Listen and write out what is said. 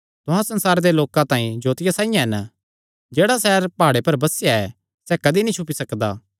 तुहां संसारे दे लोकां तांई जोतिया साइआं हन जेह्ड़ा सैहर प्हाड़े पर बसेया ऐ सैह़ कदी छुपी नीं सकदा